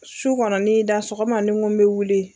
Su kɔnɔ ni ye n da, sɔgɔma nin ko bɛ wuli.